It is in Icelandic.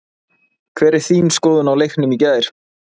Hver er þín skoðun á leiknum í gær?